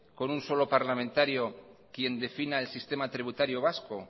con un solo parlamentario quien defina el sistema tributario vasco